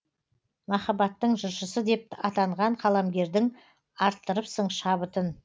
махаббаттың жыршысы деп атанған қаламгердің арттырыпсың шабытын